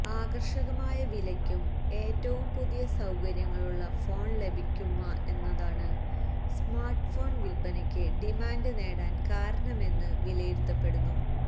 ആകര്ഷകമായ വിലക്കും ഏറ്റവും പുതിയ സൌകര്യങ്ങളുള്ള ഫോണ് ലഭിക്കുമെന്നതാണ് സ്മാര്ട് ഫോണ് വില്പ്പനക്ക് ഡിമാന്ഡ് നേടാന് കാരണമെന്ന് വിലയിരുത്തപ്പെടുന്നു